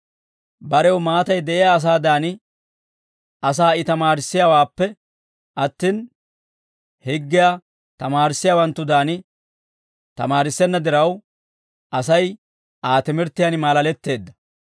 Barew maatay de'iyaa asaadan, asaa I tamaarissiyaawaappe attin, higgiyaa tamaarissiyaawanttudan tamaarissenna diraw, Asay Aa timirttiyaan maalaletteedda.